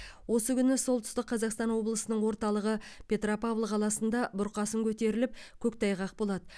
осы күні солтүстік қазақстан облысының орталығы петропавл қаласында бұрқасын көтеріліп көктайғақ болады